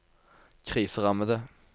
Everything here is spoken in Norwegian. kriserammede